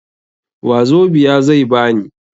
Wazobia zai ba ni.